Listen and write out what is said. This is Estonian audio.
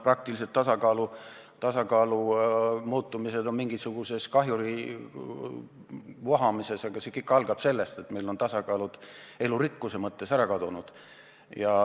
Praktiliselt väljendub tasakaalu kadumine näiteks mingisuguse kahjuri vohamises, aga kõik algab sellest, et meil on mitmesugused tasakaalud elurikkuse mõttes ära kadunud.